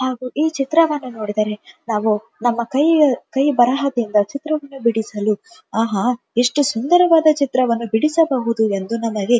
ಹಾಗು ಈ ಚಿತ್ರವನ್ನು ನೋಡಿದರೆ ನಾವು ನಮ್ಮ ಕೈ ಕೈ ಬರಹದಿಂದ ಚಿತ್ರವನ್ನು ಬಿಡಿಸಲು ಆಹಾ ಎಷ್ಟು ಸುಂದರವಾದ ಚಿತ್ರವನ್ನು ಬಿಡಿಸಬಹುದು ಎಂದು ನಮಗೆ--